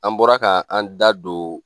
An bɔra ka an da don